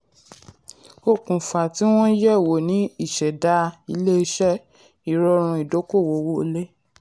okùnfà tí wọ́n yẹ̀ wò ni ìṣẹ̀dá ilé-iṣẹ́ ìrọ̀rùn ìdókòwó owó wọlé.